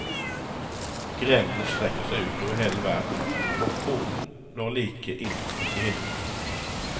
Grenene strekker seg ut over hele verden, og kronen når like inn i himmelen.